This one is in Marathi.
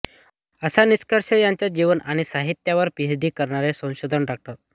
असा निष्कर्ष त्यांच्या जीवन आणि साहित्यावर पीएच डी करणारे संशोधक डाॅ